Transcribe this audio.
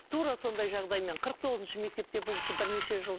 тура сондай жағдаймен қырық тоғызыншы мектепте бұл кісі бірнеше жыл